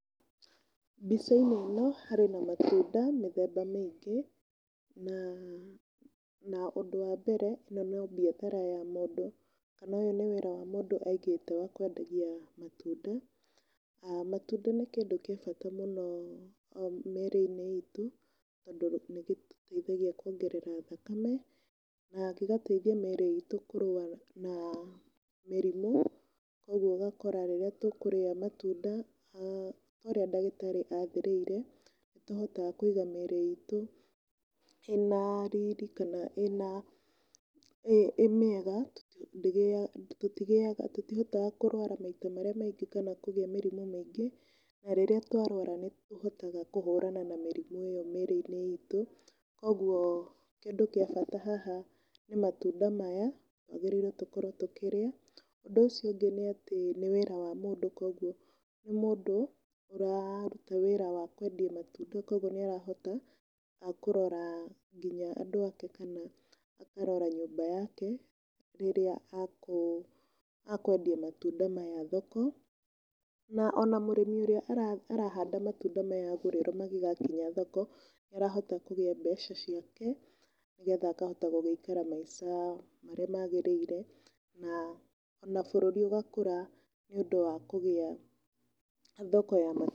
Mbica-inĩ ĩno harĩ na matunda mĩthemba mĩingĩ, na ũndũ wa mbere ĩno no mbiathara ya mũndũ kana ũyũ nĩ wĩra wa mũndũ aigĩte wa kwendagia matunda. Matunda nĩ kĩndũ gĩa bata mũno mĩrĩ-inĩ itũ tondũ nĩ gĩtũteithagia kuongerera thakame na gĩgateithia mĩri itũ kũrũa na mĩrimũ. Ũguo ũgakora rĩrĩa tũkũrĩa matunda ũrĩa ndagĩtarĩ athĩrĩire nĩ tũhotaga kũiga mĩrĩ itũ ĩna rĩrĩ, kana ĩmwega tũtigĩaga, tũtihotaga kũrwara maita marĩa maingĩ kana kũgĩa mĩrimũ mĩngĩ. Na rĩrĩa twarwara nĩ tũhotaga kũhũrana na mĩrimũ ĩyo mĩrĩ-inĩ itũ. Koguo kĩndũ kĩa bata haha nĩ matunda maya twagĩrĩirwo gũkorwo tũkĩrĩa. Ũndũ ũcio ũngĩ nĩ atĩ nĩ wĩra wa mũndũ koguo nĩ mũndũ ũraruta wĩra wa kwendia matunda, koguo nĩ arahota nginya kũrora andũ ake kana akarora nyũmba yake rĩrĩa a kwendia matunda maya thoko. Ona mũrĩmi ũrĩa ararĩma matunda maya gũrĩrwo mangĩgakinya thoko, nĩ arahota kũgĩa mbeca ciake nĩ getha akahota gũgĩikara maica marĩa magĩrĩire, na oana bũrũri ũgakũra nĩ ũndũ wa kũgĩa thoko ya matunda.